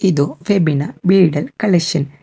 ಇದು ಫೆಬಿನ bridal collection .